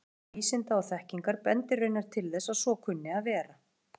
Saga vísinda og þekkingar bendir raunar til þess að svo kunni að vera.